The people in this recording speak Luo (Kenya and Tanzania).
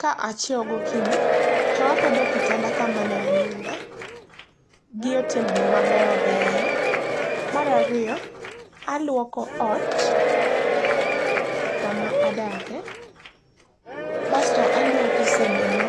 Ka achiewo gokinyi, to apedho kitanda kama ne aninde, gi otembni mabeyobeyo. Mar ariyo, alwoko ot, kama adake, basto alwoko sendena